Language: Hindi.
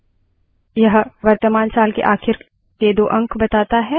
यह वर्तमान साल के आखिर दो अंक बताता है